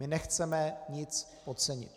My nechceme nic podcenit.